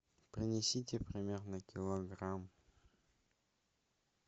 принесите примерно килограмм